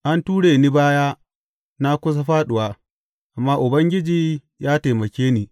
An ture ni baya na kusa fāɗuwa, amma Ubangiji ya taimake ni.